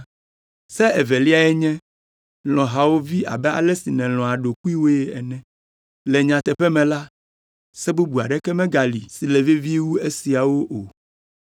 Se eveliae nye, ‘Lɔ̃ hawòvi abe ale si nèlɔ̃a ɖokuiwòe ene.’ Le nyateƒe me la, Se bubu aɖeke megali si le vevie wu esiawo o.”